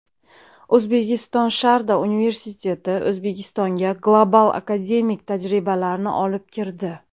O‘zbekistonSharda universiteti O‘zbekistonga global akademik tajribalarni olib kirdi.